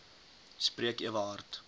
spreek ewe hard